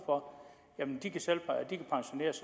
for